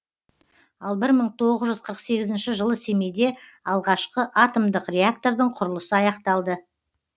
ал бір мың тоғыз жүз қырық сегізінші жылы семейде алғашқы атомдық реактордың құрылысы аяқталды